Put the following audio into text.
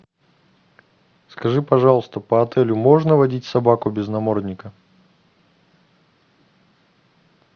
скажи пожалуйста по отелю можно водить собаку без намордника